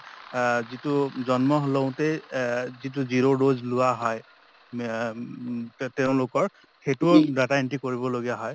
অ যিটো জন্ম লওঁতেই অ যিটো zero dose লোৱা হয় ম তেঁওলোকৰ সেইটোও data entry কৰিব লগা হয়।